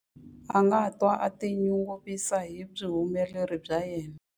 A nga twa a tinyungubyisa hi vuhumeleri bya yena.